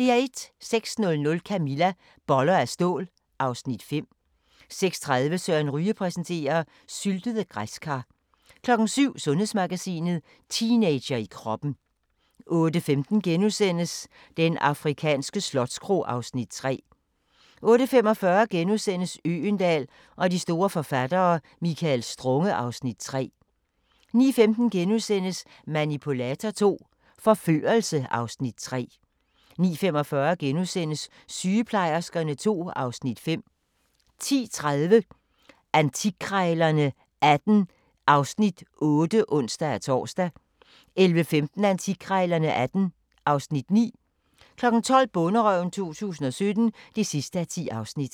06:00: Camilla - Boller af stål (Afs. 5) 06:30: Søren Ryge præsenterer: Syltede græskar 07:00: Sundhedsmagasinet: Teenager i kroppen 08:15: Den afrikanske slotskro (Afs. 3)* 08:45: Øgendahl og de store forfattere: Michael Strunge (Afs. 3)* 09:15: Manipulator II – Forførelse (Afs. 3)* 09:45: Sygeplejerskerne II (Afs. 5)* 10:30: Antikkrejlerne XVIII (Afs. 8)(ons-tor) 11:15: Antikkrejlerne XVIII (Afs. 9) 12:00: Bonderøven 2017 (10:10)